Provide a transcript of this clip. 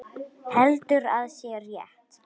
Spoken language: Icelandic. Heldur að sé rétt.